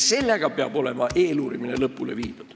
Selle ajaga peab eeluurimine olema lõpule viidud.